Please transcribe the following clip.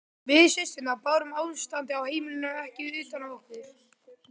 Við systurnar bárum ástandið á heimilinu ekki utan á okkur.